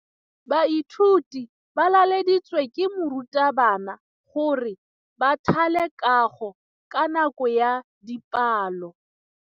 Baithuti ba laeditswe ke morutabana gore ba thale kagô ka nako ya dipalô.